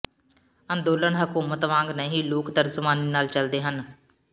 ਅੰਦੋਲਨ ਹਕੂਮਤ ਵਾਂਗ ਨਹੀਂ ਲੋਕ ਤਰਜਮਾਨੀ ਨਾਲ ਚਲਦੇ ਹਨ